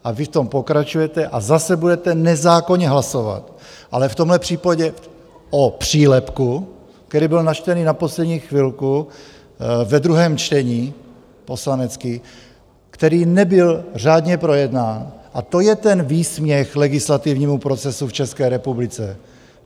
A vy v tom pokračujete a zase budete nezákonně hlasovat, ale v tomhle případě o přílepku, který byl načtený na poslední chvilku ve druhém čtení, poslanecký, který nebyl řádně projednán, a to je ten výsměch legislativnímu procesu v České republice.